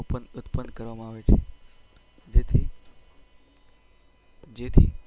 ઉત્પન્ન કરવામાં આવે છે.